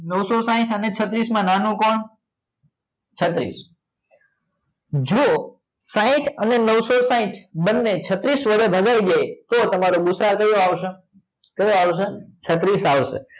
નવસો સાઇટ અને છત્રીસ માં નાનો કોણ છત્રીસ જો સાઇટ અને નવસો સાઇટ બંને છત્રીસ વડે ભગાઈ જાય તો તમારે ભુસા ક્યુ આવશે કયું આવશે? છત્રીસ આવશે